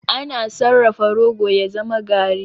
Ana sarrafa rogo ya zama garri.